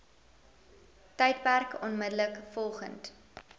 tydperk onmiddellik volgend